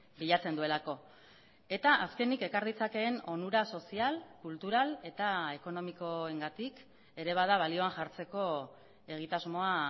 bilatzen duelako eta azkenik ekar ditzakeen onura sozial kultural eta ekonomikoengatik ere bada balioan jartzeko egitasmoa